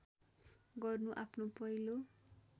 गर्नु आफ्नो पहिलो